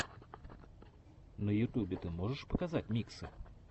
на ютубе ты можешь показать миксы